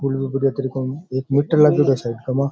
फूल वघेरो एक मीटर लगेड़ा साइडमा।